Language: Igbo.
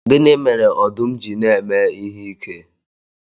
Gịnị mere ọdụm ji na-eme ihe ike?